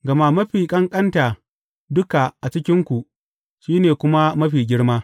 Gama mafi ƙanƙanta duka a cikinku, shi ne kuma mafi girma.